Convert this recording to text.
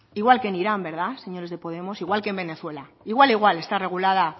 igual que en irán verdad señores de podemos igual que en venezuela igual igual está regulada